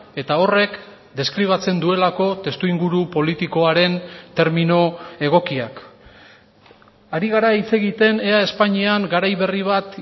eta horrek deskribatzen duelako testuinguru politikoaren termino egokiak ari gara hitz egiten ea espainian garai berri bat